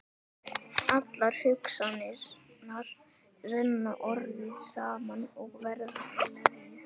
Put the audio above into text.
Allar hugsanirnar renna orðið saman og verða að leðju.